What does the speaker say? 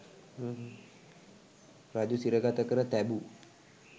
රජු සිරගත කර තැබූ